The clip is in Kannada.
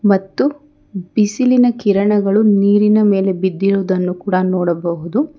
ಮತ್ತು ಬಿಸಿಲಿನ ಕಿರಣಗಳು ನೀರಿನ ಮೇಲೆ ಬಿದ್ದಿರುದನ್ನು ಕೂಡ ನೋಡಬಹುದು.